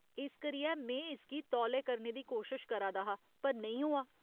इस करियै में इसगी तौले करने दी कोशश करा दा हा पर नेईं होआ।